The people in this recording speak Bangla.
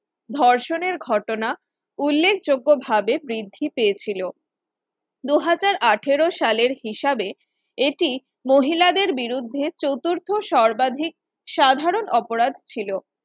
ধর্ষণের ঘটনা উল্লেখযোগ্য ভাবে বৃদ্ধি পেয়েছিল দু হাজার আঠেরো সালের হিসাবে এটি মহিলাদের বিরুদ্ধে চতুর্থ সর্বাধিক সাধারণ অপরাধ ছিল